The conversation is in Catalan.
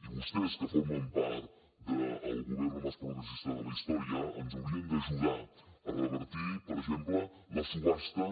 i vostès que formen part del gobierno más progresista de la historia ens haurien d’ajudar a revertir per exemple la subhasta